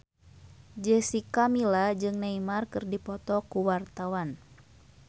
Jessica Milla jeung Neymar keur dipoto ku wartawan